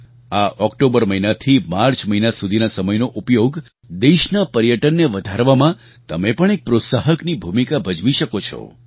આ ઑક્ટોબર મહિનાથી માર્ચ મહિના સુધીના સમયનો ઉપયોગ દેશના પર્યટનને વધારવામાં તમે પણ એક પ્રોત્સાહકની ભૂમિકા ભજવી શકો છો